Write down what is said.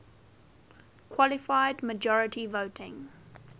qualified majority voting